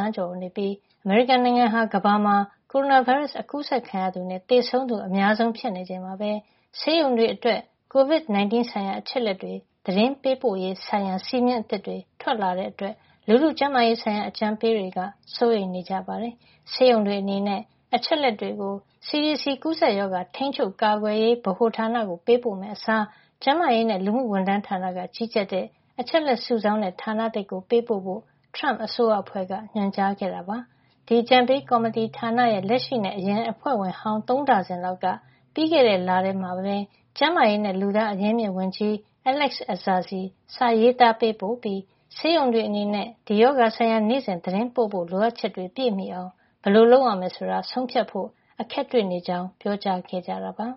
န်းကျော် ရှိနေပြီး အမေရိကန်နိုင်ငံဟာ ကမ္ဘာမှာ ကိုရိုနာဗိုင်းရပ်စ် အကူးစက်ခံရသူ နဲ့သေဆုံးသူ အများဆုံး ဖြစ်နေချိန်မှာပဲ ဆေးရုံတွေအတွက် ကိုဗစ် ၁၉ ဆိုင်ရာ အချက်အလက်တွေ သတင်းပို့ရေးဆိုင်ရာ စည်းမျဉ်းအသစ်တွေ ထွက်လာတာကြောင့် လူထုကျန်းမာရေးဆိုင်ရာ အကြံပေးတွေ စိုးရိမ်နေကြပါတယ်။ ဆေးရုံတွေ အနေနဲ့ အချက်အလက်တွေကို CDC ကူးစက်ရောဂါထိန်းချုပ် ကာကွယ်ရေးဗဟိုဌာနကို ပေးပို့မယ့်အစား ကျန်းမာရေးနဲ့ လူမှုဝန်ထမ်းဌာနက ကြီးကြပ်တဲ့ အချက်လက်စုဆောင်းတဲ့ ဌာနသစ်ကို ပေးပို့ဖို့ ထရမ့်အစိုးရအဖွဲ့က ညွှန်ကြားခဲ့တာပါ။ ဒါပေမယ့် အကြံပေးကော်မတီ ဌာနရဲ့ လက်ရှိ နဲ့ အရင်အဖွဲ့ဝင်ဟောင်း သုံးဒါဇင်လောက်က ပြီးခဲ့တဲ့ လထဲမှာပဲ ကျန်းမာရေးနဲ့ လူသားအရင်းအမြစ်ဝန်ကြီး Alex Azar ဆီစာရေးသား ပေးပို့ခဲ့ပြီး ဆေးရုံတွေ အနေနဲ့ ဒီရောဂါဆိုင်ရာ နေ့စဉ် သတင်းပို့ဖို့ လိုအပ်ချက်တွေ ပြည့်မှီအောင် ဘယ်လို လုပ်ရမယ် ဆိုတာ ဆုံးဖြတ်ဖို့ အခက်တွေ့နေကြကြောင်း ပြောကြားခဲ့တာပါ။